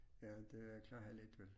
Ja det klarer jeg let vel